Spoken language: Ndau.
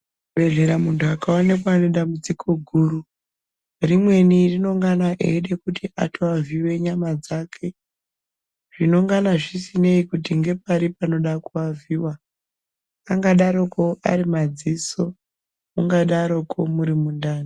Muchibhedhlera muntu akaonekwa ane dambudziko guru rimweni rinongana eide kuti atoavhiyiwa nyama dzake zvinongana zvisinei kuti ngepari panoda kuavhiiwa. Angadaroko ari madziso, mungadaroko muri mundani.